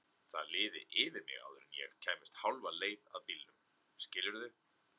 Það liði yfir mig áður en ég kæmist hálfa leið að bílnum, skilurðu?